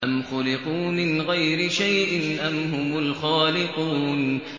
أَمْ خُلِقُوا مِنْ غَيْرِ شَيْءٍ أَمْ هُمُ الْخَالِقُونَ